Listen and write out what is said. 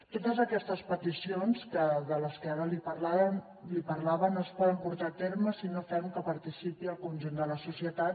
totes aquestes peticions de què ara li parlava no es poden portar a terme si no fem que hi participi el conjunt de la societat